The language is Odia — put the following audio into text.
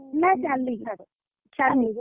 ନା ଚାଲିକି, ଚାଲିକି।